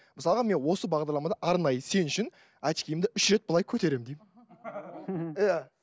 мысалға мен осы бағдарламада арнайы сен үшін очкиімді үш рет былай көтеремін деймін